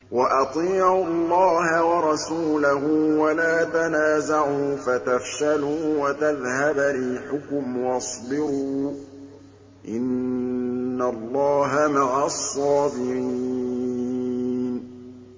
وَأَطِيعُوا اللَّهَ وَرَسُولَهُ وَلَا تَنَازَعُوا فَتَفْشَلُوا وَتَذْهَبَ رِيحُكُمْ ۖ وَاصْبِرُوا ۚ إِنَّ اللَّهَ مَعَ الصَّابِرِينَ